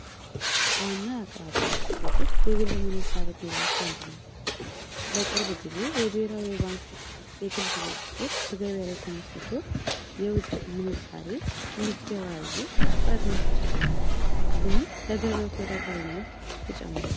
ዋና አቅራቢያ የግል ምንዛሪ የሚመነዝሩ ናቸው የብሔራዊ ባንክ የግል ድርጅቶች ተመስርቶ የውጭ ምንዛሪ ለማድረግ ፍቃድ መስጠት ጀምሯል ይህም ለገበያ ተወዳዳሪነትን ይጨምራል።